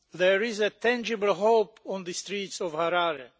There is tangible hope on the streets of Harare.